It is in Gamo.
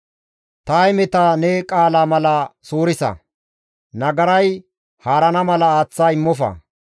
Ta hemeta ne qaala mala suurisa; nagaray haarana mala tana aaththa immofa.